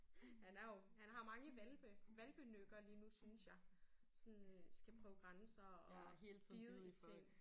Han er jo han har mange hvalpe hvalpenykker lige nu synes jeg sådan skal prøve grænser og hele tiden bide i ting